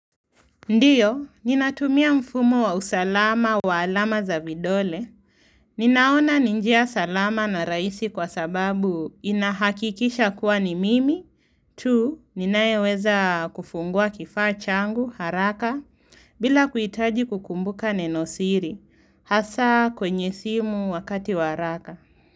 Ndio, ninatumia mfumo wa usalama wa alama za vidole. Ninaona ni njia salama na rahisi kwa sababu inahakikisha kuwa ni mimi. Tu, ninayeweza kufungua kifaa changu, haraka, bila kuhitaji kukumbuka neno siri. Hasa kwenye simu wakati wa haraka.